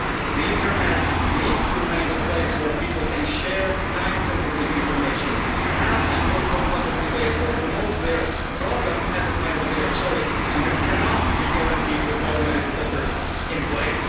The internet needs to remain a place where people can share time-sensitive information, have an open public debate or promote their products at the time of their choice, and this cannot be guaranteed with automated filters in place.